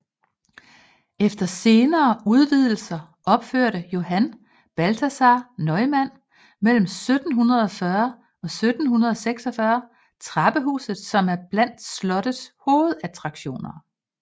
Efter senere udvidelser opførte Johann Balthasaar Neumann mellem 1740 og 1746 trappehuset som er blandt slottets hovedattraktioner